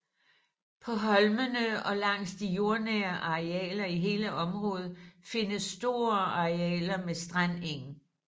På holmene og langs de fjordnære arealer i hele området findes store arealer med strandeng